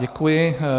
Děkuji.